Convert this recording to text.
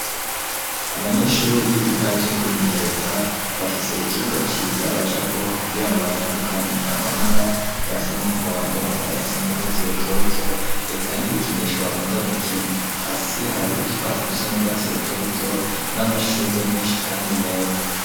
Abanyeshuri biga ivyo kwimenyereza, bafise ikibuga ciza bajako kugira ngo batandukanye amabara; ayasa n'umuhondo, ayasa n'urwatsi rutoto, eka n'ibikinisho bakunda gukina; hasi hari utwatsi dusa n'urwatsi rutoto, n'amashurwe menshi kandi meza.